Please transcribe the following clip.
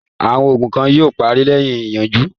Àwọn ogun kan yóò parí lẹ́yìn ìyanjú.